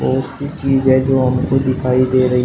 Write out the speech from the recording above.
बहोत चीज है जो हमको दिखाई दे रही--